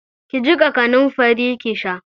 Ki jiƙa kanamfari ki sha.